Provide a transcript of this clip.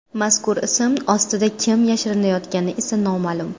Mazkur ism ostida kim yashirinayotgani esa noma’lum.